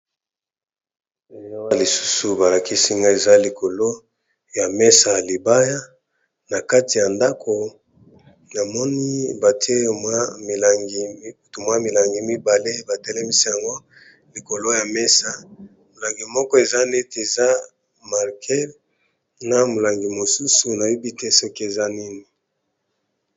Na lisusu balakisi nga eza likolo ya mesa yalibaya, na kati ya ndako namoni bate mwa milangi mibale batelemisi yango likolo ya mesa molangi moko eza neti eza marke na molangi mosusu nayobi te soki eza nini.